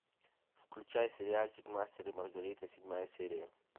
включай сериальчик мастер и маргарита седьмая серия